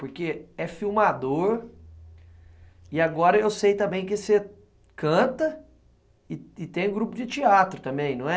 Porque é filmador e agora eu sei também que você canta e tem grupo de teatro também, não é?